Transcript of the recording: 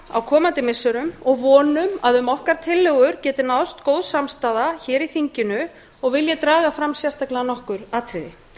á komandi missirum og vonum að um tillögur okkar geti náðst góð samstaða í þinginu og vil ég hér draga fram sérstaklega nokkur atriði